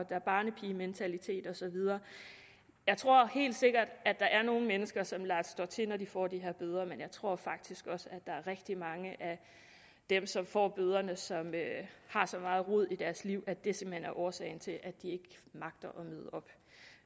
der er barnepigementalitet og så videre jeg tror helt sikkert at der er nogle mennesker som lader stå til når de får de her bøder men jeg tror faktisk også at rigtig mange af dem som får bøderne som har så meget rod i deres liv at det simpelt hen er årsagen til at de ikke magter